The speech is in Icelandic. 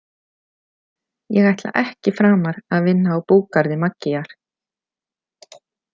Ég ætla ekki framar að vinna á búgarði Maggíar.